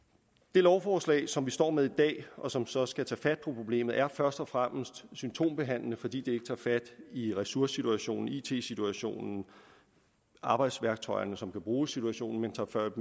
det lovforslag som vi står med i dag og som så skal tage fat på problemet er først og fremmest symptombehandling fordi det ikke tager fat i ressourcesituationen og it situationen arbejdsværktøjerne som kan bruges i situationen men tager fat